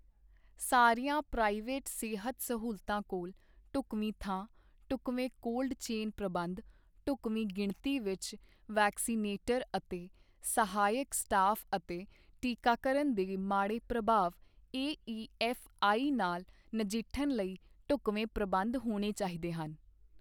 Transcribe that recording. ਸਾਰੀਆਂ ਪ੍ਰਾਈਵੇਟ ਸਿਹਤ ਸਹੂਲਤਾਂ ਕੋਲ ਢੁਕਵੀਂ ਥਾਂ, ਢੁਕਵੇਂ ਕੋਲਡ ਚੇਨ ਪ੍ਰਬੰਧ, ਢੁਕਵੀਂ ਗਿਣਤੀ ਵਿਚ ਵੈਕਸੀਨੇਟਰ ਅਤੇ ਸਹਾਇਕ ਸਟਾਫ ਅਤੇ ਟੀਕਾਕਰਨ ਦੇ ਮਾੜੇ ਪ੍ਰਭਾਵ ਏਈਐਫਆਈ ਨਾਲ ਨਜਿੱਠਣ ਲਈ ਢੁਕਵੇਂ ਪ੍ਰਬੰਧ ਹੋਣੇ ਚਾਹੀਦੇ ਹਨ।